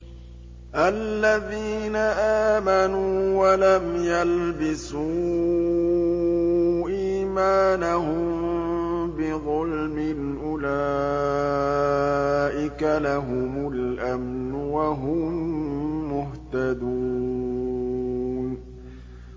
الَّذِينَ آمَنُوا وَلَمْ يَلْبِسُوا إِيمَانَهُم بِظُلْمٍ أُولَٰئِكَ لَهُمُ الْأَمْنُ وَهُم مُّهْتَدُونَ